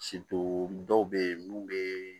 dɔw bɛ yen mun bɛ